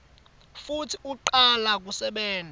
futsi ucala kusebenta